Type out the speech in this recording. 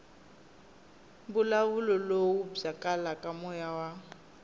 mbulavulo lowu byalaka moya wa